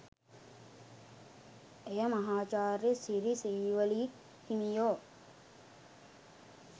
එය මහාචාර්ය සිරි සීවලී හිමියෝ